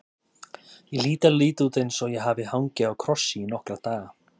Ég hlýt að líta út eins og ég hafi hangið á krossi í nokkra daga.